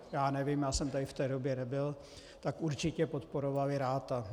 Já nevím, já jsem tady v té době nebyl, tak určitě podporovali Ratha.